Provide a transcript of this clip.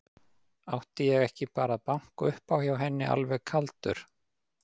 Átti ég ekki bara að banka upp á hjá henni alveg kaldur?